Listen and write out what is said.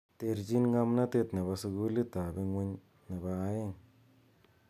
Ter chin ngamnatet nebo sukulit ab ingwuny nebo aeng.